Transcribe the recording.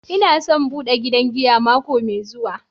N'na son bude gidan giya mako mai zuwa.